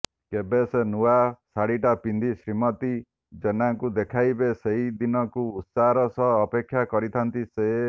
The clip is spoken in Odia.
କେବେ ସେ ନୂଆ ଶାଢ଼ୀଟା ପିନ୍ଧି ଶ୍ରୀମତୀ ଜେନାଙ୍କୁ ଦେଖେଇବେ ସେଦିନକୁ ଉତ୍ସାହର ସହ ଅପେକ୍ଷା କରିଥାନ୍ତି ସେ